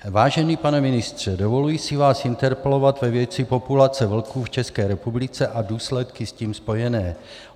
Vážený pane ministře, dovoluji si vás interpelovat ve věci populace vlků v České republice a důsledky s tím spojené.